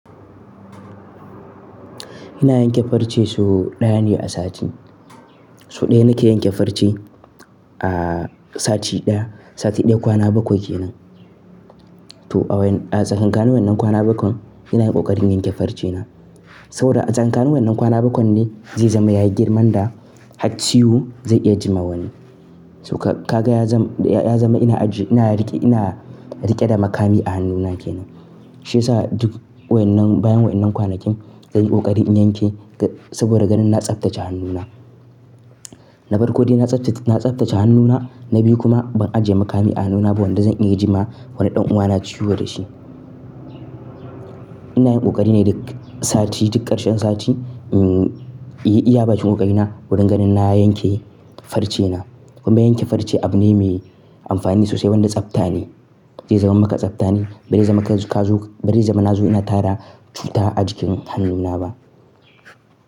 Ina yanke farce sau ɗaya ne a sati. Sau ɗaya nake yanke farce a sati ɗaya. Sati ɗaya kwana bakwai ke nan. To a wain-- a tsakanin wannan kwana bakwai ina yin ƙoƙari in yanke farcena saboda a tsakanin wannan kwana bakwai ne zai zama yayi girman da hatsi yu zai iya jima wani. Toh ka, ka ga ya zam, ya zama ina aji, ina riƙe, ina riƙe da makami a hannuna ke nan. Shi yasa duk wannan bayan wannan kwanakin, zan yi ƙoƙari in yanke saboda ganin na tsaftace hannuna. Na bar koɗi na tsaftace, na tsaftace hannuna, na bi kuma ban ajiye makami a hannuna ba wanda zan iya jima wani ɗan uwana ciwo da shi. Ina yin ƙoƙari ne duk sati, duk ƙarshen sati, mm, iya, iya bakin ƙoƙarina wurin ganin na yanke farcena. Kuma yanke farce abu ne mai amfani sosai wanda tsafta ne. Zai zama maka tsafta ne. Ba zai zama ka zo, ba zai zama na zo ina tara cuta a jikin hannuna ba.